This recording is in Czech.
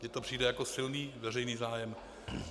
Mně to přijde jako silný veřejný zájem.